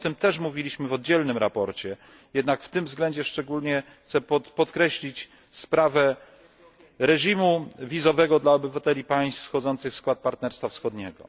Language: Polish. O tym też mówiliśmy w oddzielnym sprawozdaniu. Jednak w tym względzie chciałbym szczególnie podkreślić sprawę reżimu wizowego dla obywateli państw wchodzących w skład Partnerstwa Wschodniego.